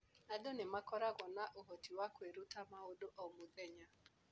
Andũ nĩ makoragwo na ũhoti wa kwĩruta maũndũ o mũthenya.